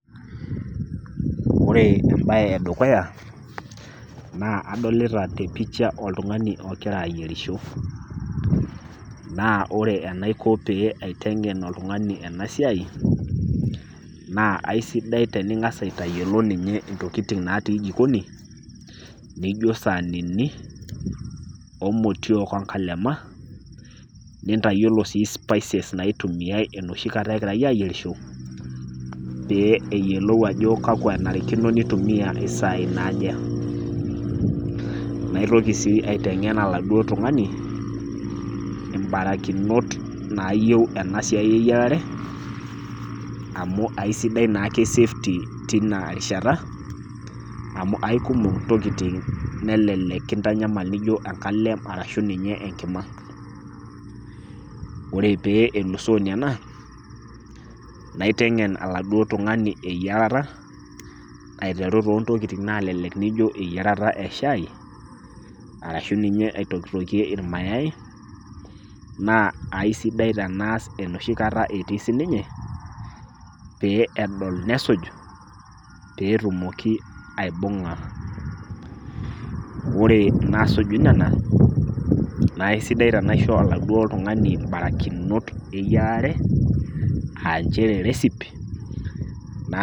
Ore embae e dukuya naa, adolita te picha oo oltung'ani ogira ayierisho. Naa ore enaiko pee aiteng'en oltung'ani ena siai naa aisidai teningas atayiolou ninye intokitin natii jikoni, naijo isaanini,o imotiook o nkalema , nintayiolo sii spices naitumiai enooshi kata egirai ayierisho, pee eyiolou ajo kakwa kenarikino pee eitumiya isai naake. Naitoki sii aiteng'en oladuo tung'ani imbarakinot naayiou ena siai e yierare amu sidai naake ke safety tinaa rishata amu aikumok intokitin nelelek nekintanyamal Niko kengalem arashu ninye enkima. Ore pee elusoo Nena naiteng'en oladuo tung'ani eneiya taata aiteru too intokitin naalelek naijo eyierata e shaai, arashu ninye aitokie ilmayai naa aisidai teneas enoshi kata etii sii ninye, pee edol nesuj pee etumoki aibung'a. Ore inaasuju nena, naa aisidai tenaisho oladuo tung'ani imbarakinot eyierate aa nchere recipe.